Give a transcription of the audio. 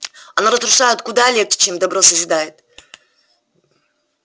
оно разрушает куда легче чем добро созидает